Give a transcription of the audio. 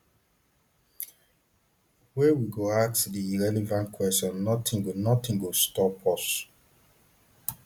wey we go ask di relevant questions notin go notin go stop us